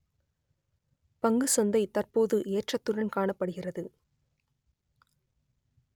பங்குசந்தை தற்போது ஏற்றத்துடன் காணப்படுகிறது